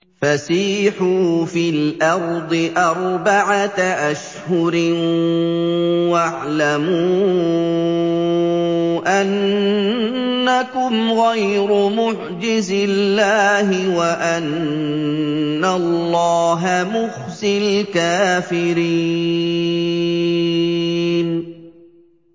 فَسِيحُوا فِي الْأَرْضِ أَرْبَعَةَ أَشْهُرٍ وَاعْلَمُوا أَنَّكُمْ غَيْرُ مُعْجِزِي اللَّهِ ۙ وَأَنَّ اللَّهَ مُخْزِي الْكَافِرِينَ